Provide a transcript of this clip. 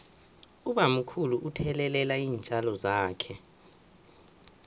ubamkhulu uthelelela iintjalo zakhe